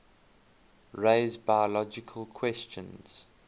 raise biological questions